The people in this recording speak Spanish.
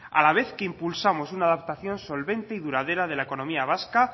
a la vez que impulsamos una adaptación solvente y duradera de la economía vasca